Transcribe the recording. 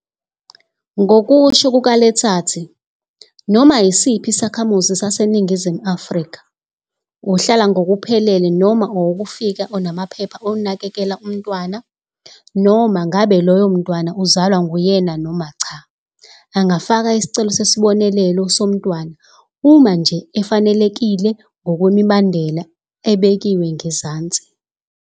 Ngokusho kuka-Letsatsi, noma yisiphi isakhamuzi saseNingizimu Afrika, ohlala ngokuphelele noma owokufika onamaphepha onakekela umntwana, noma ngabe loyo mntwana uzalwa nguyena noma cha, angafaka isicelo sesibonelelo somntwana, uma nje efanelekile ngokwemibandela ebekiwe ngezansi.